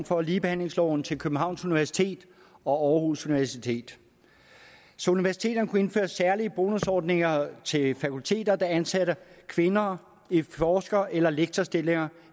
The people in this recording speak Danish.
fra ligebehandlingsloven til københavns universitet og aarhus universitet så universiteterne kunne indføre særlige bonusordninger til fakulteter der ansatte kvinder i forsker eller lektorstillinger